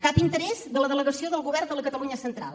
cap interès de la delegació del govern de la catalunya central